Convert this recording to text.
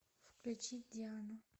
включи диану